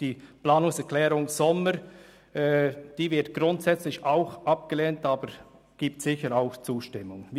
Die Planungserklärung Sommer wird grundsätzlich ebenfalls abgelehnt, aber es gibt sicher auch zustimmende Stimmen.